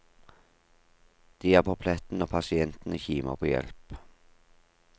De er på pletten når pasientene kimer på hjelp.